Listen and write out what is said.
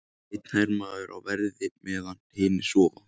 Einn hermaður á verði meðan hinir sofa.